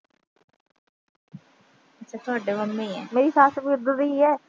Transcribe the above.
ਮੇਰੀ ਸੱਸ ਵੀ ਉਦਾਂ ਦੀ ਈ ਆ।